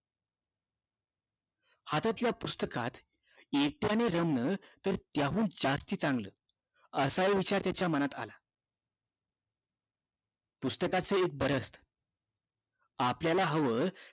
हातातल्या पुस्तकात एकट्याने रमण तर त्याहून जास्त चांगलं असा हि विचार त्याचा मनात आला पुस्तकाचं एक बर असत आपल्याला हवं